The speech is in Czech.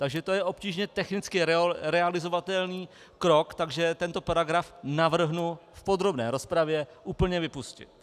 Takže to je obtížně technicky realizovatelný krok, takže tento paragraf navrhnu v podrobné rozpravě úplně vypustit.